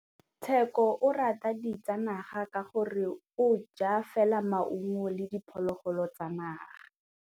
Tshekô o rata ditsanaga ka gore o ja fela maungo le diphologolo tsa naga.